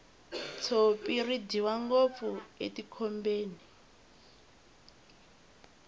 tshopi ri dyiwa ngopfu etikhombeni